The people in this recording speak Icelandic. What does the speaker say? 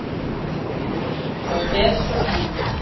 Og er svo enn!